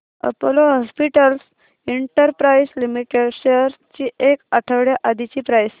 Apollo hospitals enterprise limited shares ची एक आठवड्या आधीची प्राइस